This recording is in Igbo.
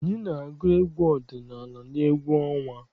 Anyị na-agụ egwu ọdịnala n'egwu ọnwa.